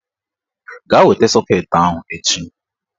Gaa weta sọket ahụ echi!